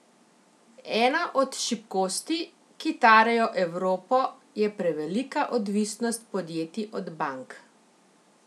Ena od šibkosti, ki tarejo Evropo, je prevelika odvisnost podjetij od bank.